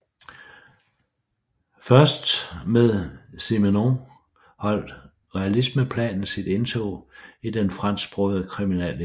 Først med Simenon holdt realismeplanet sit indtog i den fransksprogede kriminallitteratur